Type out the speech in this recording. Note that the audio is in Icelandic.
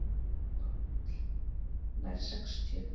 PÁLL: Nær sextíu.